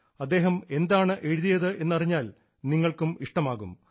അദ്ദേഹം എന്താണ് എഴുതിയത് എന്നറിഞ്ഞാൽ നിങ്ങൾക്കും ഇഷ്ടമാകും